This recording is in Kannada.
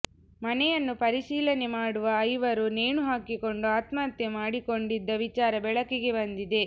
ಮನೆಯನ್ನು ಪರಿಶೀಲನೆ ಮಾಡುವ ಐವರು ನೇಣು ಹಾಕಿಕೊಂಡು ಆತ್ಮಹತ್ಯೆ ಮಾಡಿಕೊಂಡಿದ್ದ ವಿಚಾರ ಬೆಳಕಿಗೆ ಬಂದಿದೆ